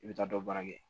I bɛ taa dɔ baara kɛ